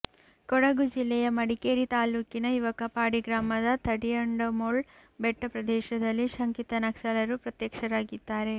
ಕೊಡಗು ಜಿಲ್ಲೆಯ ಮಡಿಕೇರಿ ತಾಲ್ಲೂಕಿನ ಯವಕಪಾಡಿ ಗ್ರಾಮದ ತಡಿಯಂಡಮೋಳ್ ಬೆಟ್ಟ ಪ್ರದೇಶದಲ್ಲಿ ಶಂಕಿತ ನಕ್ಸಲರು ಪ್ರತ್ಯಕ್ಷರಾಗಿದ್ದಾರೆ